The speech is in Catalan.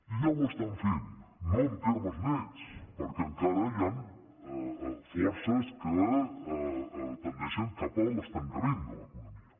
ja ho estan fent no en termes nets perquè encara hi han forces que tendeixen cap a l’estancament de l’economia